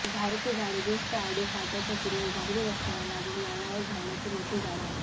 धावडयाचे झाड उद्ध्वस्त आडूर फाटयाच्या पूर्वेस डांबरी रस्त्याला लागून वळणावर धावडयाचे मोठे झाड आहे